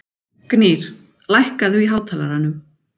Gnýr, lækkaðu í hátalaranum.